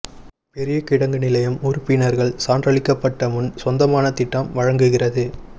பெரிய கிடங்கு நிலையம் உறுப்பினர்கள் சான்றளிக்கப்பட்ட முன் சொந்தமான திட்டம் வழங்குகிறது